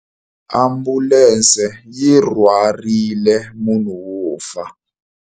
Ambulense yi rhwarile munhu wo fa.